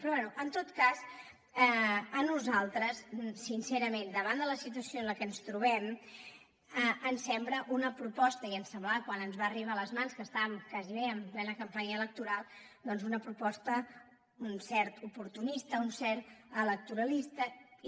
però bé en tot cas a nosaltres sincerament davant de la situació en què ens trobem ens sembla una proposta i ens ho semblava quan ens va arribar a les mans que estàvem gairebé en plena campanya electoral doncs d’un cert oportunisme un cert electoralisme i